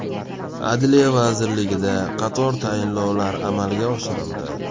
Adliya vazirligida qator tayinlovlar amalga oshirildi.